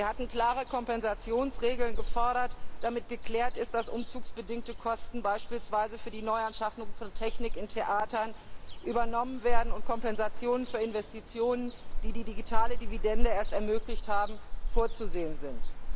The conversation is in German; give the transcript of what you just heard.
Wir hatten klare Kompensationsregeln gefordert, damit geklärt ist, dass umzugsbedingte Kosten beispielsweise für die Neuanschaffung von Technik in Theatern übernommen werden und Kompensationen für Investitionen, die die digitale Dividende erst ermöglicht haben, vorzusehen sind.